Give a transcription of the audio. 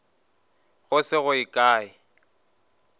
go se go ye kae